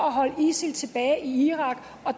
at holde isil tilbage i irak og